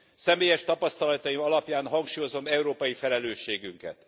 Személyes tapasztalataim alapján hangsúlyozom európai felelősségünket.